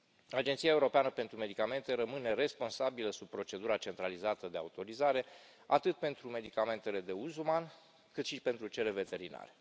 Agenția Europeană pentru Medicamente rămâne responsabilă sub procedura centralizată de autorizare atât pentru medicamentele de uz uman, cât și pentru cele veterinare.